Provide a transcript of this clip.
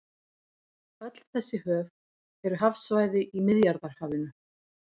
Öll þessi höf eru hafsvæði í Miðjarðarhafinu.